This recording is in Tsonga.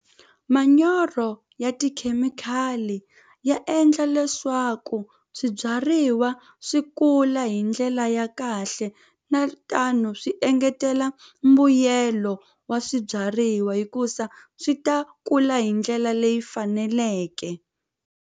Manyoro ya tikhemikhali ya endla leswaku swibyariwa swi kula hi ndlela ya kahle na tano swi engetela mbuyelo wa swibyariwa hikuza swi ta kula hi ndlela leyi faneleke.